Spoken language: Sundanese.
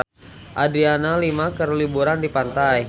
Adriana Lima keur liburan di pantai